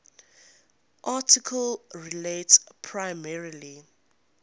article relates primarily